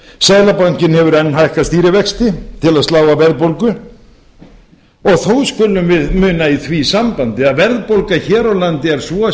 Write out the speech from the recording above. seðlabankinn hefur enn hækkað stýrivexti til að slá á verðbólgu og þó skulum við muna í því sambandi að verðbólga hér á landi er svo